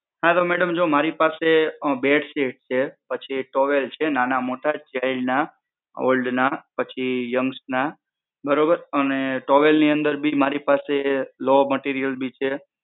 હા તો madam જો પાસે બેડશીટ છે પછી towel છે નાના મોટા child ના old ના પછી young ના બરોબર અને towel ની અંદર મારી પાસે low material પણ છે.